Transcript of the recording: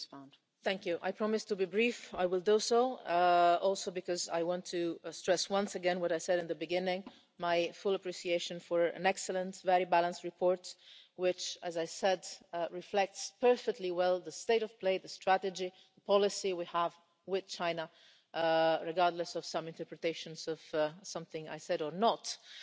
Madam President, I promise to be brief. I will do so also because I want to stress once again what I said in the beginning my full appreciation for an excellent, very balanced report which, as I said, reflects perfectly well the state of play, the strategy and the policy we have with China, regardless of some interpretations of something I did or did not say